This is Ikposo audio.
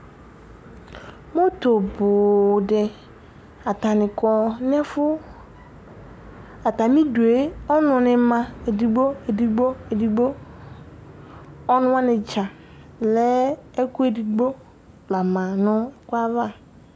utu bʊ dɩ nʊ ɛfuɛdɩ, atamidu mua mɛ ɔnʊnɩ lɛ edigbo edigbo, ɔnʊwani dza kele lɛ ɛkʊ edigbo